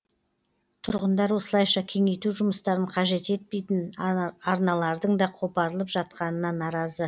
тұрғындар осылайша кеңейту жұмыстарын қажет етпейтін арналардың да қопарылып жатқанына наразы